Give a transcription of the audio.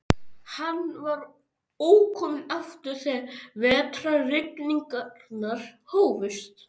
Hann var ókominn aftur þegar vetrarrigningarnar hófust.